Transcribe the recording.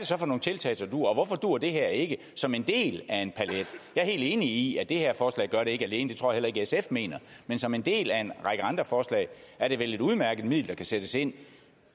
så for nogle tiltag der duer og hvorfor duer det her ikke som en del af en palet jeg er helt enig i at det her forslag ikke gør det alene det tror jeg heller ikke sf mener men som en del af en række andre forslag er det vel et udmærket middel der kan sættes ind